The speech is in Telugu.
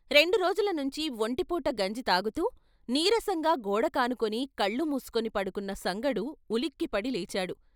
రెండురోజులనుంచి వొంటిపూట గంజి తాగుతూ, నీరసంగా గోడకానుకుని కళ్ళు మూసుకుని పడుకున్న సంగడు ఉలిక్కిపడి లేచాడు.